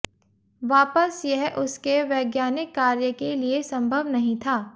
वापस यह उसके वैज्ञानिक कार्य के लिए संभव नहीं था